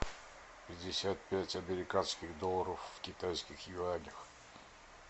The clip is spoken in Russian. пятьдесят пять американских долларов в китайских юанях